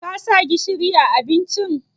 Ka sa gishiri a abincin?